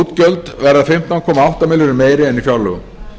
útgjöld verða fimmtán komma átta milljörðum meiri en í fjárlögum